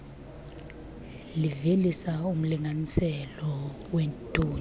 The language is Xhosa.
livelisa umlinganiselo weetoni